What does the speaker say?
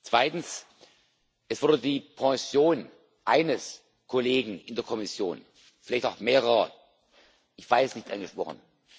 Zweitens Es wurde die Pension eines Kollegen in der Kommission vielleicht auch mehrere ich weiß es nicht angesprochen.